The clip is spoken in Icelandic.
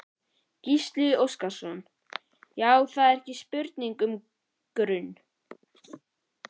Gísli Óskarsson: Já það er ekki spurning um grun?